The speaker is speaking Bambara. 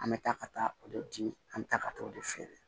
An bɛ taa ka taa o de di an bɛ taa ka taa o de feere